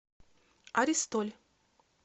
аристоль